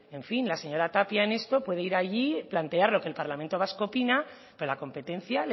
en fin la señora tapia en esto puede ir allí y plantear lo que el parlamento vasco opina pero la competencia